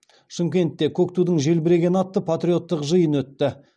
шымкентте көк тудың желбірегені атты патриоттық жиын өтті